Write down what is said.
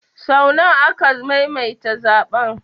Sau nawa aka maimaita zaɓen?